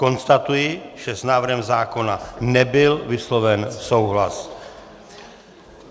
Konstatuji, že s návrhem zákona nebyl vysloven souhlas.